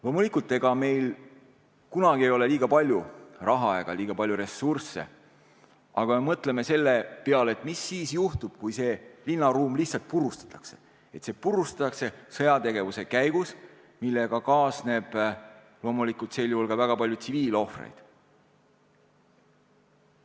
Loomulikult, ega meil ei ole kunagi liiga palju raha ega liiga palju ressursse, aga mõtleme selle peale, mis siis juhtub, kui see linnaruum lihtsalt purustatakse, see purustatakse sõjategevuse käigus, millega kaasneb loomulikult sel juhul ka väga palju tsiviilohvreid.